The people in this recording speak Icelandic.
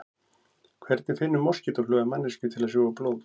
Hvernig finnur moskítófluga manneskju til að sjúga blóð?